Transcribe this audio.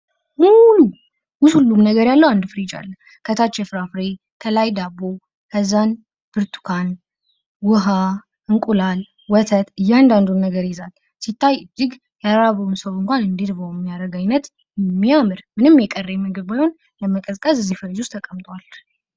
ሙሉ ሁሉም ነገር ያለው አንድ ፍሪጅ አለ። ከታች የፍራፍሬ ከላይ ዳቦ፣ ከዛን ብርቱካን፣ ውሃ፣ እንቁላል፣ ወተት እያንዳንዱን ነገር ይይዛል። ሲታይ ያልራበው ሰው እንኳን እንዲርበው የሚያረግ አይነት የሚያምር ምንም የቀረ ምግብ ወይም ለመቀዝቀዝ እዚ ፍሪጅ ውስጥ ተቀምጧል።